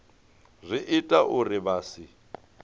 zwi ita uri vha si